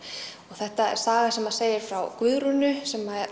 þetta er saga sem segir frá Guðrúnu sem